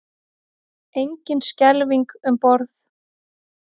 Engin skelfing um borð